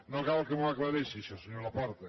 no cal que m’ho aclareixi això senyor laporta